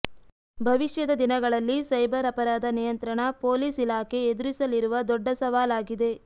ಭವಿಷ್ಯದ ದಿನಗಳಲ್ಲಿ ಸೈಬರ್ ಅಪರಾಧ ನಿಯಂತ್ರಣ ಪೊಲೀಸ್ ಇಲಾಖೆ ಎದುರಿಸಲಿರುವ ದೊಡ್ಡ ಸವಾಲಾಗಲಿದೆ